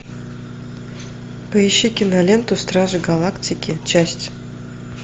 поищи киноленту стражи галактики часть